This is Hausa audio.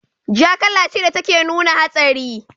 Ja kala ce da take nuna hatsari.